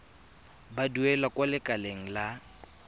ba duelang kwa lekaleng la